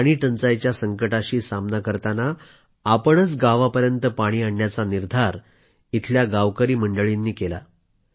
पाणी टंचाईच्या संकटाशी सामना करताना आपणच गावापर्यंत पाणी आणण्याचा निर्धार गावकरी मंडळींनी केला